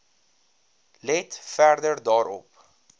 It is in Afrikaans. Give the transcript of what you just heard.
let verder daarop